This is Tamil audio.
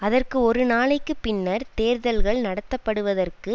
அதற்கு ஒரு நாளைக்கு பின்னர் தேர்தல்கள் நடத்த படுவதற்கு